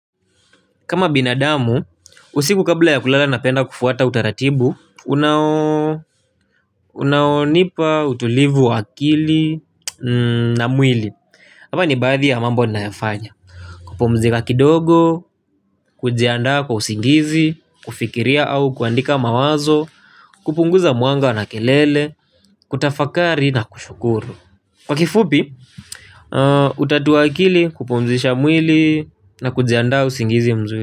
Kama binadamu, usiku kabla ya kulala napenda kufuata utaratibu. Unaonipa utulivu wa akili na mwili. Haya ni baadhi ya mambo nayafanya kupumzika kidogo, kujiandaa kwa usingizi, kufikiria au kuandika mawazo kupunguza mwanga na kelele, kutafakari na kushukuru kwa kifupi, kutatua akili, kupumzisha mwili na kujiandaa usingizi mzuli.